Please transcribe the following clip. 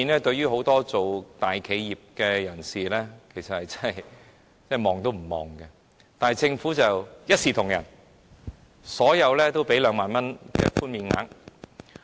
對於很多在大企業工作的人士來說 ，2 萬元這數目實在是微不足道；但政府卻一視同仁，對所有人提供2萬元的寬免額。